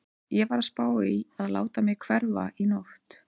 Ég var að spá í að láta mig hverfa í nótt.